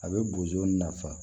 A bɛ bozo nafa